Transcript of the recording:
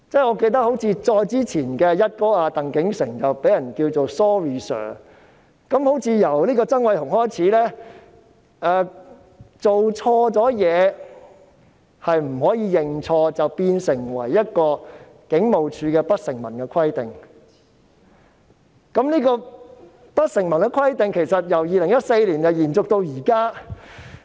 我記得他的前任"一哥"鄧竟成被人稱為 "Sorry Sir"—— 好像由曾偉雄開始，做錯事後不可以認錯，這變成了警務處的一項不成文規定，由2014年延續至今。